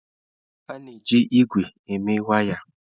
A na-eji ígwè eme waya.